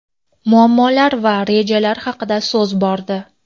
muammolar va rejalar haqida so‘z bordi.